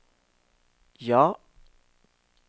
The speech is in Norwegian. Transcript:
ja